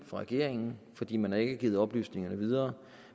for regeringen fordi man ikke har givet oplysningerne videre